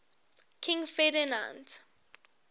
king ferdinand